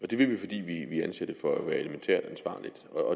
det vil vi fordi vi anser det for at være elementært ansvarligt